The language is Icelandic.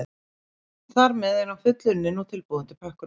Þar með er hann fullunninn og tilbúinn til pökkunar.